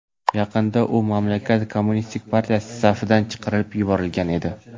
Yaqinda u mamlakat kommunistik partiyasi safidan chiqarib yuborilgan edi.